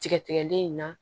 Tigɛ tigɛlen in na